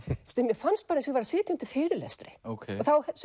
sem mér fannst eins og ég sæti undir fyrirlestri og þá